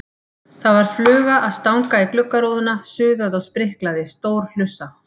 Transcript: Það var fluga að stanga í gluggarúðuna, suðaði og spriklaði, stór hlussa.